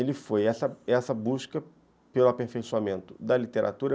Ele foi essa essa busca pelo aperfeiçoamento da literatura.